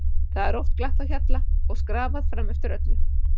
Það er oft glatt á hjalla og skrafað fram eftir öllu.